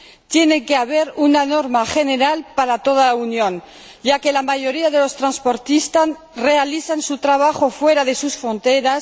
Tiene que haber una norma general para toda la Unión, ya que la mayoría de los transportistas realiza su trabajo fuera de sus fronteras